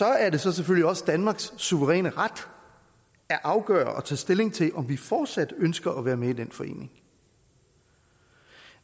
er det så selvfølgelig også danmarks suveræne ret at afgøre og tage stilling til om vi fortsat ønsker at være med i den forening